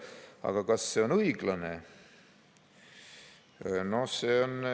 Aga kas see on õiglane?